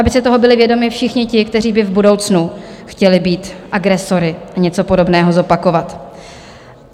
Aby si toho byli vědomi všichni ti, kteří by v budoucnu chtěli být agresory a něco podobného zopakovat.